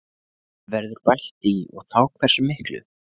Verður bætt í og þá hversu miklu?